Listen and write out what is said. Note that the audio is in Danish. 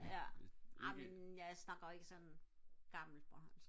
ja amen jeg snakker jo ikke sådan gammel bornholmsk